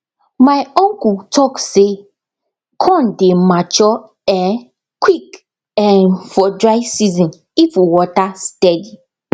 my uncle talk say corn dey mature um quick um for dry season if water steady